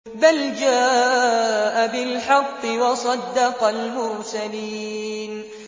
بَلْ جَاءَ بِالْحَقِّ وَصَدَّقَ الْمُرْسَلِينَ